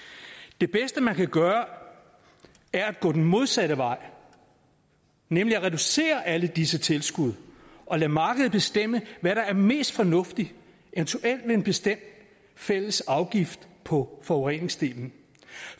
det bedste man kan gøre er at gå den modsatte vej nemlig at reducere alle disse tilskud og lade markedet bestemme hvad der er mest fornuftigt eventuelt med en bestemt fælles afgift på forureningsdelen